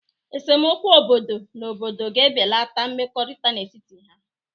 Esemokwu obodo na obodo ga-ebeleta mmekọrịta n'etiti ha.